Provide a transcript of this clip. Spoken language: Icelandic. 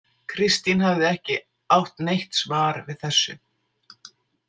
Kristín hafði ekki átt neitt svar við þessu.